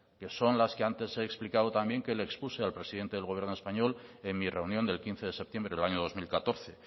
que son las que antes he explicado también que le expuse al presidente del gobierno español en mi reunión del quince de septiembre del año dos mil catorce